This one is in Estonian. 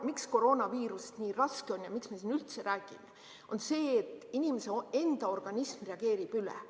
Miks koroonaviirus nii raske on ja miks me siin üldse räägime, on see, et inimese enda organism reageerib üle.